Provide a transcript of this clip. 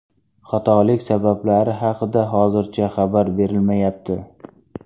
Xatolik sabablari haqida hozircha xabar berilmayapti.